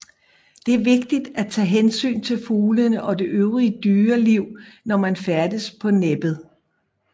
Det er vigtigt at tage hensyn til fuglene og det øvrige dyreliv når man færdes på Næbbet